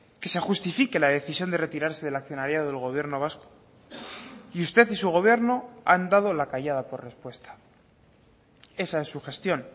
que se justifique la decisión de retirarse del accionariado del gobierno vasco y usted y su gobierno han dado la callada por respuesta esa es su gestión